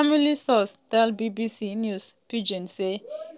family sources tell bbc news pidgin say